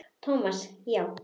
Thomas, já.